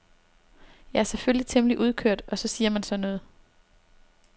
Jeg er selvfølgelig temmelig udkørt og så siger man sådan noget.